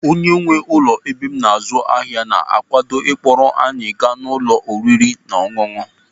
Onye nwe ụlọ ebe m azụ ahịa na-akwado ịkpọrọ anyị gaa n'ụlọ oriri na ọṅụṅụ.